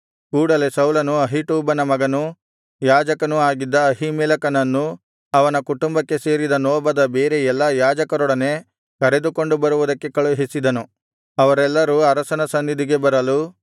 ಕೂಡಲೆ ಸೌಲನು ಅಹೀಟೂಬನ ಮಗನೂ ಯಾಜಕನೂ ಆಗಿದ್ದ ಅಹೀಮೆಲೆಕನನ್ನೂ ಅವನ ಕುಟುಂಬಕ್ಕೆ ಸೇರಿದ ನೋಬದ ಬೇರೆ ಎಲ್ಲಾ ಯಾಜಕರೊಡನೆ ಕರೆದುಕೊಂಡು ಬರುವಂತೆ ಕಳುಹಿಸಿದನು ಅವರೆಲ್ಲರೂ ಅರಸನ ಸನ್ನಿಧಿಗೆ ಬರಲು